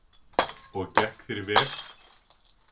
Og gekk þér vel?